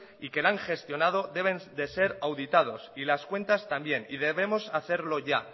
y que la han gestionado deben de ser auditados y las cuentas también y debemos hacerlo ya